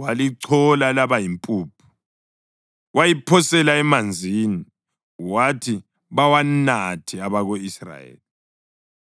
walichola laba yimpuphu, wayiphosela emanzini, wathi bawanathe abako-Israyeli.